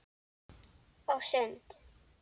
Og sund.